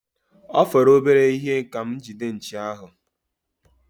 Ọ fọrọ obere ihe ka m gide nchi ahụ.